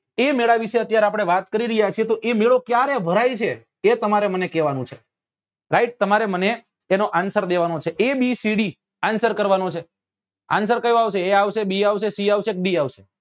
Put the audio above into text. એ મેળા વિશે અત્યારે આપડે વાત કરી રહ્યા છીએ તો એ મેળો ક્યારે ભરાય છે એ તમારે મને કેવા નું છે right તમારે મને એનો answer દેવા નો છે abcd answer કરવા નો છે answer કયો આવશે a આવશે bc આવશે d આવશે